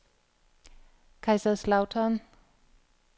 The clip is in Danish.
Kaiserslautern